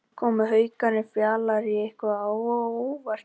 Komu Haukarnir Fjalari eitthvað á óvart í kvöld?